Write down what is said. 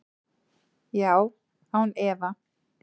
Já, án efa.